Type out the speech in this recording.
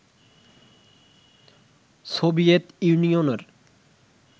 Soviet ইউনিয়নের